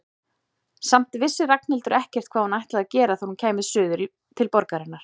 Samt vissi Ragnhildur ekkert hvað hún ætlaði að gera þegar hún kæmi suður til borgarinnar.